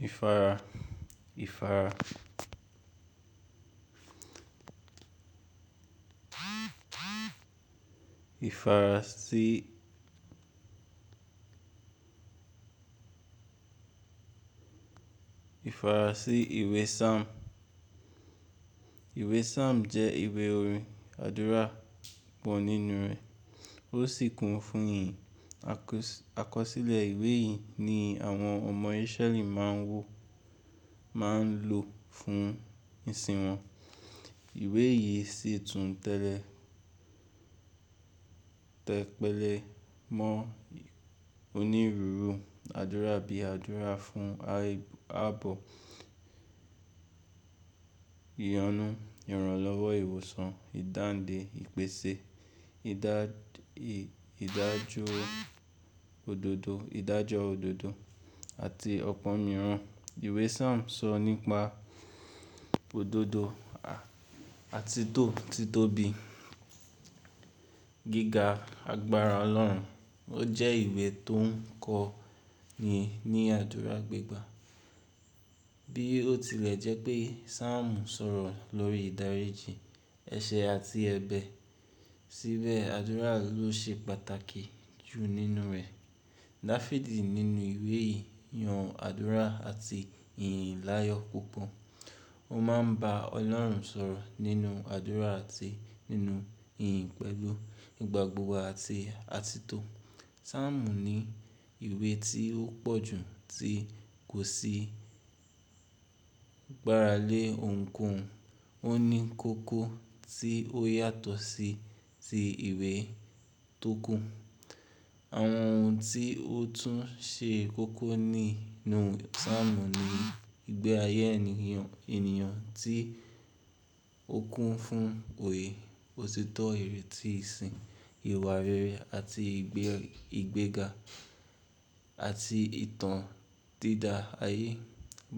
Ifara, Ifara, Ifara sí, Ifara sí ìwé psalms. Ìwé psalms jẹ́ ìwé orin àdúrà pọ̀ nínú rẹ̀ ó sì kún fún ìyìn. Àkọ́ sílẹ̀ ìwé yìí ni àwọn ọmọ Israẹli máa ń wò, máa ń lò fún ìsìn wọn. Ìwé yìí sì tún tẹ́lẹ̀, tẹ́ pẹ̀lẹ́ mọ́ onírúurú àdúrà bíi àdúrà fún ààbò, ìyanu, ìrànlọ́wọ́, ìwòsàn, ìdáǹdè, ìpèsè, ìdájọ́ òdodo, ìdájọ́ òdodo àti ọ̀pọ̀ mìíràn. Ìwé psalms sọ nípa òdodo àti to tìtóbi, gíga, agbára Ọlọ́run. Ó jẹ́ ìwé tó ń kọ́ ni ní àdúrà gbígba. Bí ó tilẹ̀ jẹ́ pé psalms sọ̀rọ̀ lórí ìdáríjì, ẹ̀ṣẹ̀ àti ẹbẹ, síbẹ̀ àdúrà ló ṣe pàtàkì jù nínú rẹ̀. Dafidi nínú ìwé yìí yan àdúrà àti ìyìn láyọ̀ púpọ̀. Ó máa ń bá Ọlọ́run sọ̀rọ̀ nínú àdúrà àti nínú ìyìn pẹ́lú ìgbà gbogbo àti àtìtọ́. Psalms ni ìwé tí ó pọ̀ jù tí kò sí gbára lé ohunkóhun. Ó ní kókó tí ó yàtọ̀ sí ti ìwé tó kún. Àwọn ohun tí ó tún ṣe kókó nínú psalms ni ìgbé ayé ènìyàn, ènìyàn tí ó kún fún òye, òtítọ́ ìrètí ìsìn, ìwà rere àti ìgbéga àti ìtàn dídá ayé.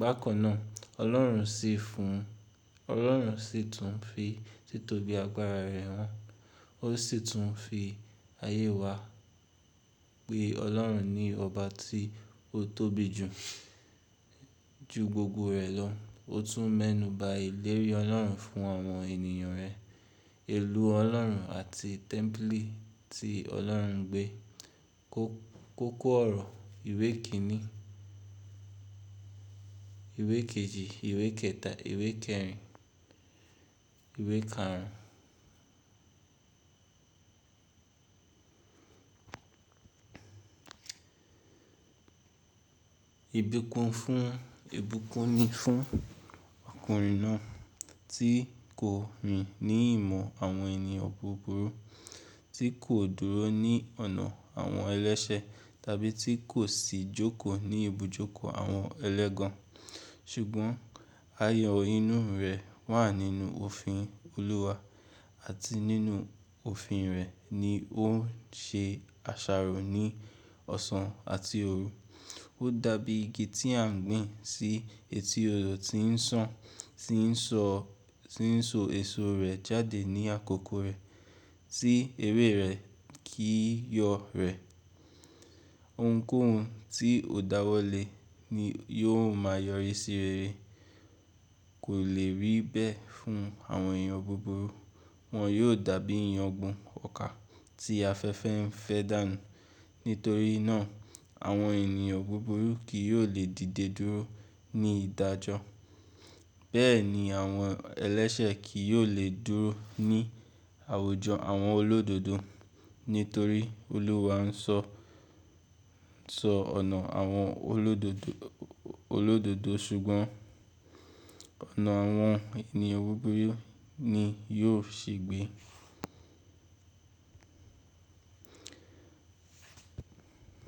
Bákan náà, Ọlọ́run sì tún fi títọ́bi agbára rẹ̀ hàn. Ó sì tún fi ayé wa pé Ọlọ́run ni ọba tí ó tóbi jù, ju gbogbo rẹ̀ lọ. Ó tún mẹ́nuba ìlérí Ọlọ́run fún àwọn ènìyàn rẹ̀. Èlú Ọlọ́run àti tẹ́ḿpílì tí Ọlọ́run gbé. Kókó ọ̀rọ̀ ìwé kìn-ín, ìwé kejì, ìwé kẹta, ìwé kẹrin, ìwé káàrún. Ìbúkún ni fún ọkùnrin náà tí kò rìn ní ìmọ̀ àwọn ènìyàn búburú, tí kò dúró ní ọ̀nà àwọn ẹlẹ́ṣẹ̀ tàbí tí kò sì jókòó ní ibùjókòó àwọn ẹlẹ́gàn. Ṣùgbọ́n, ayan inú rẹ̀ wà nínú òfin Olúwa àti nínú òfin rẹ̀ ni ó ń ṣe àṣàrò ní ọ̀sán àti òru. Ó dàbí igi tí à ń gbìn sí etí odò tí ń sàn, tí ń sọ, tí ń so èso rẹ̀ jáde ní àkókò rẹ̀, tí ère rẹ̀ kí yọ́ rẹ̀. Ohunkóhun tí ò dáwọ́ le ni yóò máa yọrí sí rere kò lè rí bẹ́ẹ̀ fún àwọn ènìyàn búburú. Wọn yóò dàbí iyan ọ̀gbọ̀n ọkà tí afẹ́fẹ́ ń fẹ́ dànù. Nítorí náà, àwọn ènìyàn búburú kì yóò lè dìde dúró ní ìdájọ́. Bẹ́ẹ̀ ni àwọn ẹlẹ́ṣẹ̀ kì yóò lè dúró ní àwùjọ àwọn olódodo. Nítorí Olúwa ń sọ, sọ ọ̀nà àwọn olódodo, olódodo ṣùgbọ́n ọ̀nà àwọn ènìyàn búburú ni yóò ṣì gbé.